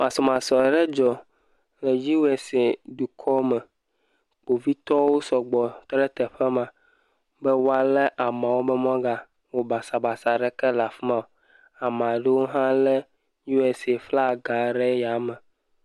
masɔmasɔ ɖe dzɔ le USA dukɔ me kpovitɔwo sɔgbɔ tɔɖe teƒe ma be woale amawo wo magawɔ basabasa ɖeke la fima o amaɖewo tsɛ le USA flaga ɖe asi